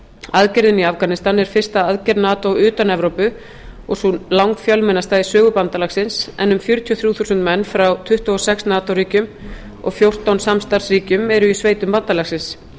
aðgerðin í afganistan er fyrsta aðgerð nato utan evrópu og sú langfjölmennasta í sögu bandalagsins en um fjörutíu og þrjú þúsund menn frá tuttugu og sex nato ríkjum og fjórtán samstarfsríkjum eru í sveitum bandalagsins